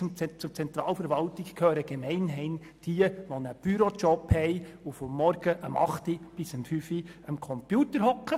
Zur Zentralverwaltung gehören gemeinhin diejenigen, die einen Bürojob haben und von 8.00 Uhr morgens bis 17.00 Uhr abends am Computer sitzen.